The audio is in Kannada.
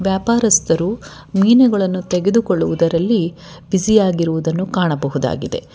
ವ್ಯಾಪಾರಸ್ಥರು ಮೀನುಗಳನ್ನು ತೆಗೆದುಕೊಳ್ಳುವುದರಲ್ಲಿ ಬ್ಯುಸಿ ಯಾಗಿರುವುದನ್ನು ಕಾಣಬಹುದಾಗಿದೆ.